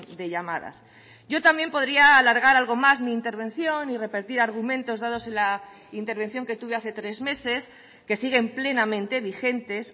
de llamadas yo también podría alargar algo más mi intervención y repetir argumentos dados en la intervención que tuve hace tres meses que siguen plenamente vigentes